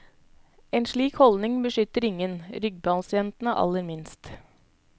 En slik holdning beskytter ingen, ryggpasientene aller minst.